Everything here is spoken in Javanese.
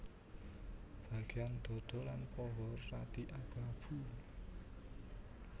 Bagéan dhadha lan paha radi abu abu